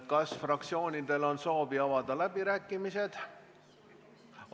Kas fraktsioonidel on soovi avada läbirääkimisi?